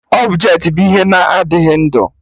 Ọbjetị bụ ihe na-adịghị ndụ